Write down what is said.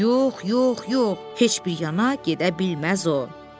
Yox, yox, yox, heç bir yana gedə bilməz o.